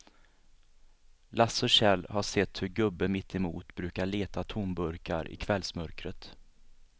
Lasse och Kjell har sett hur gubben mittemot brukar leta tomburkar i kvällsmörkret.